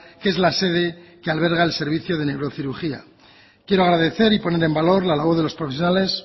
que es la sede que alberga el servicio de neurocirugía quiero agradecer y poner en valor la labor de los profesionales